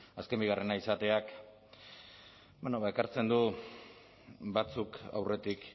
azken bigarrena izateak ekartzen du batzuk aurretik